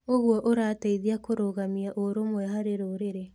ũguo ũrateithia kũrũgamia ũrũmwe harĩ rũrĩri.